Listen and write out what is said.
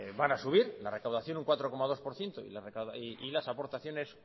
van a subir la recaudación un cuatro coma dos por ciento y las aportaciones